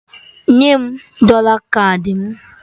Nye m dọla kaadị mụ!